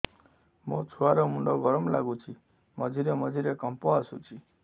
ମୋ ଛୁଆ ର ମୁଣ୍ଡ ଗରମ ଲାଗୁଚି ମଝିରେ ମଝିରେ କମ୍ପ ଆସୁଛି